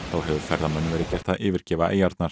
þá hefur ferðamönnum verið gert að yfirgefa eyjarnar